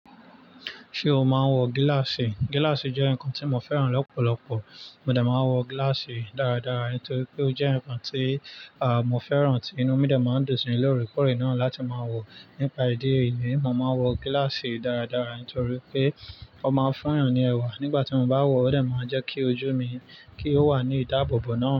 Ṣé o máa ń wọ gíláàsì? Gíláàsì jẹ́ nǹkan tí mo fẹ́ràn lọ́pọ̀lọpọ̀. Mo dà máa ń wọ gíláàsì dáradára nítorí pé ó jẹ́ ǹkan tí mo fẹ́ràn tí inú mi dà máa ń dùnsín lóre kóre náà láti máa wọ̀ nípa ìdí èyí ni mò ń máa wọ gíláàsì dáradára nítorí pé ó máa ń fúnyan ní ẹwà nígbà tí mo bá wọ̀ ó dà máa ń jẹ́ kí ojú mi kí ó wà ní ìdáàbòbò náà.